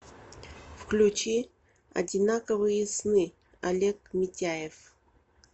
включи одинаковые сны олег митяев